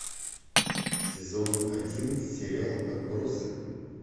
сезон один сериал отбросы